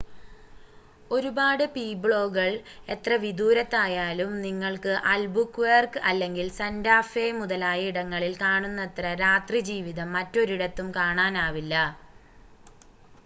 ഒരുപാട് പീബ്ലോകൾ എത്ര വിദൂരത്തായാലും നിങ്ങൾക്ക് അൽബുക്വേർക്ക് അല്ലെങ്കിൽ സൻ്റാ ഫേ മുതലായ ഇടങ്ങളിൽ കണുന്നത്ര രാത്രിജീവിതം മറ്റൊരിടത്തും കാണാനാവില്ല